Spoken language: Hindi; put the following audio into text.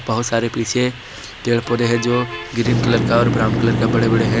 बहोत सारे पीछे पेड़ पौधे है जो ग्रीन कलर का और ब्राउन कलर का बड़े बड़े है।